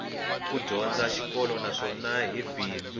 ku dyondza xikolo naswona hi bindzu